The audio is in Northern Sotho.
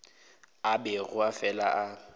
a bego a fela a